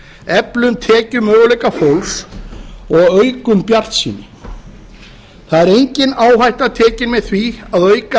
eflum tekjumöguleika fólks og aukum bjartsýni það er engin áhætta tekin með því að auka